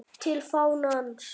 TIL FÁNANS